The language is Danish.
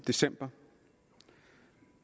december